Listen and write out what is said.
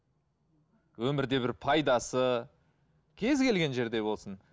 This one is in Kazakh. өмірде бір пайдасы кез келген жерде болсын